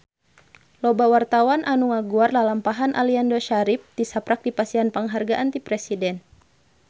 Loba wartawan anu ngaguar lalampahan Aliando Syarif tisaprak dipasihan panghargaan ti Presiden